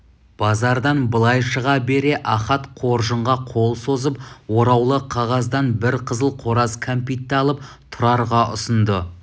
базардан былай шыға бере ахат қоржынға қол созып ораулы қағаздан бір қызыл қораз кәмпитті алып тұрарға ұсынды